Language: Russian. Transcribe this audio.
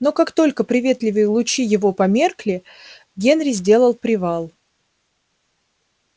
но как только приветливые лучи его померкли генри сделал привал